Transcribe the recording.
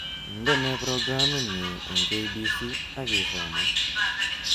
Indenee programitnyu eng K.B.C ak isoman